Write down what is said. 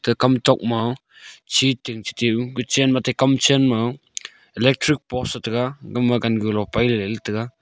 te kam tok ma chi tin ku chen ma te kam chen ma electric post taiga gama gangu low paile tega.